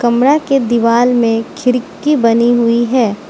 कमरा के दीवाल में खिड़की बनी हुईं हैं।